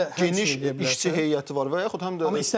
Zirənin də geniş işçi heyəti var və yaxud həm də isteğlar gəlsin.